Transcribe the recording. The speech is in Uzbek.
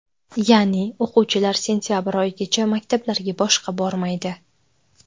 Ya’ni, o‘quvchilar sentabr oyigacha maktablarga boshqa bormaydi.